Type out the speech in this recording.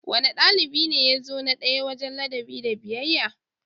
Wane dalibi ne ya zo na daya wajen ladabi da biyayya?